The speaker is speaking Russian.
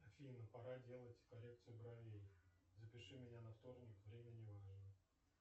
афина пора делать коррекцию бровей запиши меня на вторник время не важно